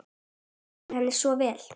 Þetta lýsir henni svo vel.